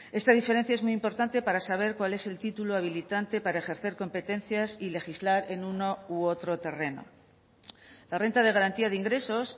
esta diferencia es muy importante para saber cuál es el título habilitante para ejercer competencias y legislar en uno u otro terreno la renta de garantía de ingresos